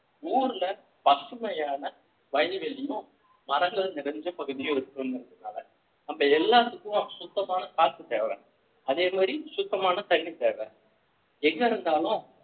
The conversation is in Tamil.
ஊர்ல பசுமையான வயல்வெளியும் மரங்களும் நிறைஞ்ச பகுதியும் இருக்கணும்ங்கிறதுகாக நம்ம எல்லாத்துக்கும் சுத்தமான காற்று தேவை அதே மாதிரி சுத்தமான தண்ணி தேவை எங்க இருந்தாலும்